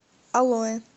алоэ